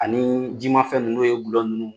Anii jima fɛn ninnu n'o ye dulɔ ninnu.